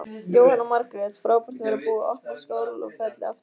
Jóhanna Margrét: Frábært að vera búið að opna Skálafelli aftur?